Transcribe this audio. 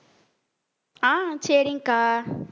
அஹ் சரிங்கக்கா